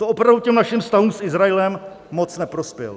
To opravdu těm našim vztahům s Izraelem moc neprospěl.